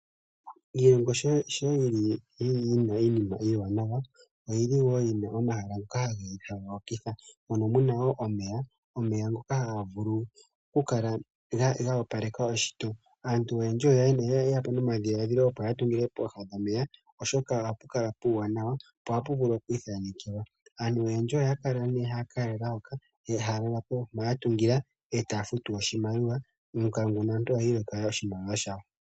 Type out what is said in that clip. Aantu ohaya vulu okuya komahala omawaanawa , ya vule oku ka vululukwapo yamone uuwanawa woshilongo sha wo.